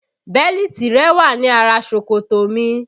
Bẹ́lítì rẹ wà ní ara ṣòkòtò mi